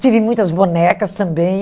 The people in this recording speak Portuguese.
Tive muitas bonecas também.